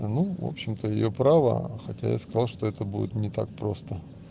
ну в общем-то её право хотя я сказал что это будет не так просто